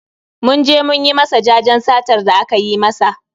Mun je mun yi masa jajen satar da aka yi masa